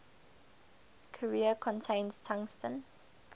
carrier contains tungsten